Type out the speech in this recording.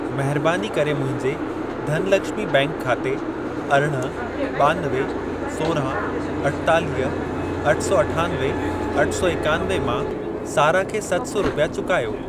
महरबानी करे मुंहिंजे धनलक्ष्मी बैंक खाते अरिड़हं, ॿानवे, सोरांह, अठेतालीह, अठ सौ अठानवे, अठ सौ एकानवे मां सारा खे सत सौ रुपिया चुकायो।